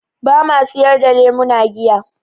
Ba ma sayar da lemuna giya.